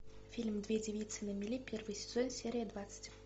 фильм две девицы на мели первый сезон серия двадцать